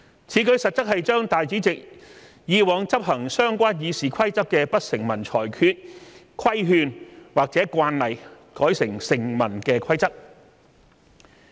此舉實質上是把主席以往執行相關《議事規則》的不成文裁決、規勸或慣例改為成文的規則。